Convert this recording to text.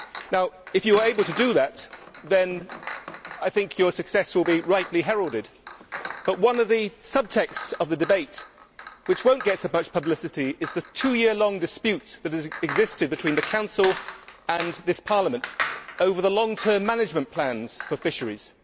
Taoiseach, if you are able to do that then I think your success will be rightly heralded, but one of the subtexts of the debate which will not get so much publicity is the two year long dispute which has existed between the Council and this Parliament over the long term management plans for fisheries.